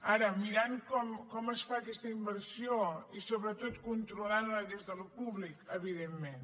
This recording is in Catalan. ara mirant com es fa aquesta inversió i sobretot controlant la des del públic evidentment